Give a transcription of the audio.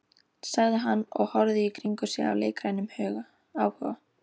sagði hann og horfði í kringum sig af leikrænum áhuga.